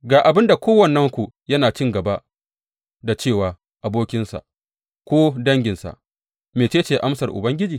Ga abin da kowannenku yana cin gaba da ce wa abokinsa ko danginsa, Mece ce amsar Ubangiji?’